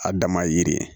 A dama ye yiri ye